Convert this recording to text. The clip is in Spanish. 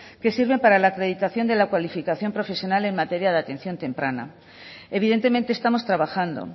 que sirven para la acreditación de la cualificación profesional en materia de atención temprana evidentemente estamos trabajando